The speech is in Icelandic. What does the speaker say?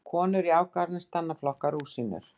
Konur í Afganistan að flokka rúsínur.